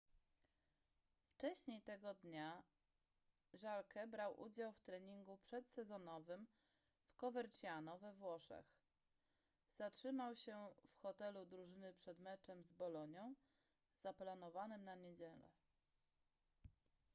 wcześniej tego dnia jarque brał udział w treningu przedsezonowym w coverciano we włoszech zatrzymał się w hotelu drużyny przed meczem z bolonią zaplanowanym na niedzielę